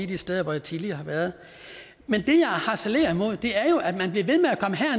de steder hvor jeg tidligere har været men det jeg harcelerer imod er jo at man bliver ved